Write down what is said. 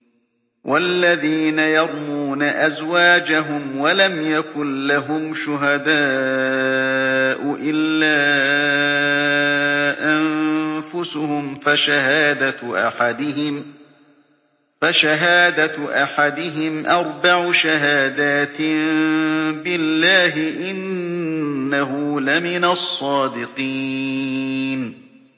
وَالَّذِينَ يَرْمُونَ أَزْوَاجَهُمْ وَلَمْ يَكُن لَّهُمْ شُهَدَاءُ إِلَّا أَنفُسُهُمْ فَشَهَادَةُ أَحَدِهِمْ أَرْبَعُ شَهَادَاتٍ بِاللَّهِ ۙ إِنَّهُ لَمِنَ الصَّادِقِينَ